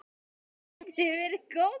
Þessi vetur hefur verið góður.